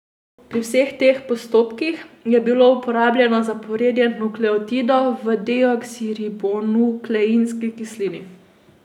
Pri vseh teh postopkih je bilo uporabljeno zaporedje nukleotidov v deoksiribonukleinski kislini.